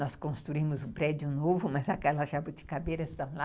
Nós construímos um prédio novo, mas aquelas jabuticabeiras estão lá.